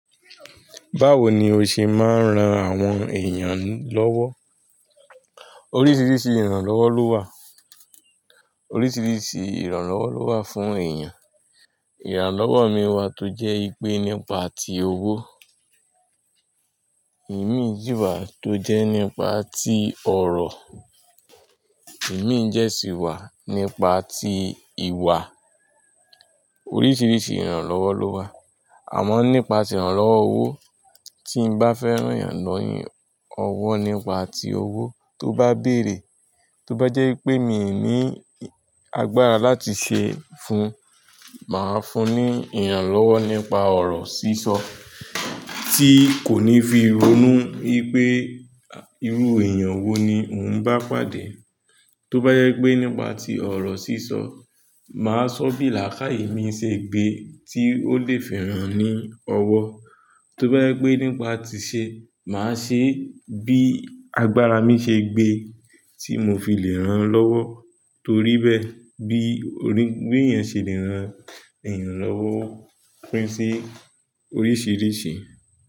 Báwo ni o ṣe máa ń ran àwọn èèyàn lọ́wọ́? Oríṣiríṣi ìrànlọ́wọ́ ló wà, oríṣiríṣi ìrànlọ́wọ́ ló wà fún èèyàn. Ìrànlọ́wọ́ mi o wà tó jẹ́ wìpè nípa ti owó, ìmí si wà tó jẹ́ nípa tí ọ̀rọ̀, ìmí jẹ sì wà nípa tí ìwà. Oríṣiríṣi ìrànlọ́wọ́ ló wà, àmọ́ nípa ti ìrànlọ́wọ́ owó, tí n bá fẹ́ ran èèyàn ni ọ́wọ́ nípa tí owó tó bá béèrè, tó bá jẹ́ pé mi ò ní agbára láti ṣe fun, màá fún un ní ìrànlọ́wọ́ nípa ọ̀rọ̀ sísọ tí kò ní fi ronú ipé irú èèyàn wo ni òun bá pàdé. Tó bá jẹ́ pé nípa tí ọ̀rọ̀ sísọ, màá sọ bí làákàyè mi ṣe gbé tí ó lè fi ran ni ọwọ́. Tó bá jẹ́ pé nípa tí i ṣe, màá ṣe bí agbára mi ṣe gbé tí mo fi lè ran lọ́wọ́. Torí bẹ́ẹ̀ bí bi èèyàn ṣe le ran èèyàn lọ́wọ́ pín sí oríṣiríṣi.